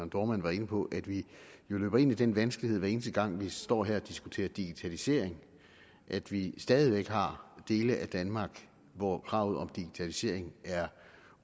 dohrmann var inde på at vi løber ind i den vanskelighed hver eneste gang vi står her og diskuterer digitalisering at vi stadig væk har dele af danmark hvor kravet om digitalisering er